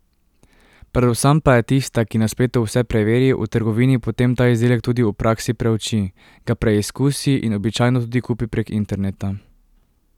Predvsem pa je tista, ki na spletu vse preveri, v trgovini potem ta izdelek tudi v praksi preuči, ga preizkusi in običajno tudi kupi prek interneta.